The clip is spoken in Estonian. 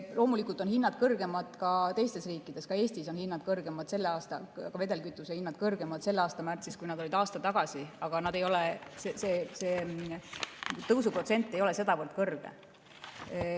Loomulikult on hinnad kõrgemad ka teistes riikides, ka Eestis olid vedelkütuste hinnad kõrgemad selle aasta märtsis, kui nad olid aasta tagasi, aga see tõusuprotsent ei ole sedavõrd kõrge.